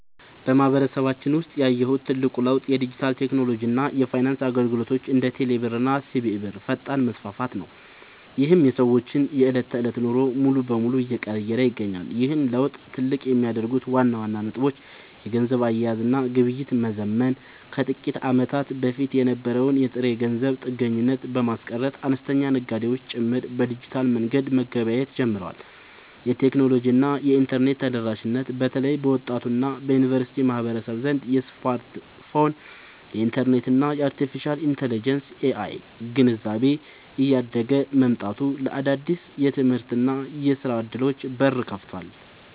በማህበረሰባችን ውስጥ ያየሁት ትልቁ ለውጥ የዲጂታል ቴክኖሎጂ እና የፋይናንስ አገልግሎቶች (እንደ ቴሌብር እና ሲቢኢ ብር) ፈጣን መስፋፋት ነው፤ ይህም የሰዎችን የዕለት ተዕለት ኑሮ ሙሉ በሙሉ እየቀየረ ይገኛል። ይህን ለውጥ ትልቅ የሚያደርጉት ዋና ዋና ነጥቦች - የገንዘብ አያያዝ እና ግብይት መዘመን፦ ከጥቂት ዓመታት በፊት የነበረውን የጥሬ ገንዘብ ጥገኝነት በማስቀረት፣ አነስተኛ ነጋዴዎች ጭምር በዲጂታል መንገድ መገበያየት ጀምረዋል። የቴክኖሎጂ እና የኢንተርኔት ተደራሽነት፦ በተለይ በወጣቱ እና በዩኒቨርሲቲ ማህበረሰብ ዘንድ የስማርትፎን፣ የኢንተርኔት እና የአርቴፊሻል ኢንተለጀንስ (AI) ግንዛቤ እያደገ መምጣቱ ለአዳዲስ የትምህርትና የሥራ ዕድሎች በር ከፍቷል።